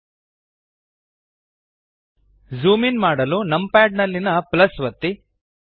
ltಪಿಜಿಟಿ zoom in ಮಾಡಲು numpad ನಲ್ಲಿಯ ಒತ್ತಿ